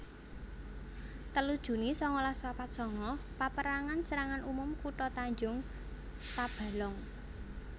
telu juni sangalas papat sanga Paperangan Serangan Umum Kutha Tanjung Tabalong